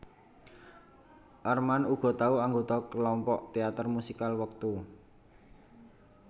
Armand uga tau anggota kelompok teater musikal wektu